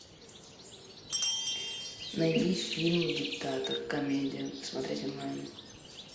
найди фильм диктатор комедия смотреть онлайн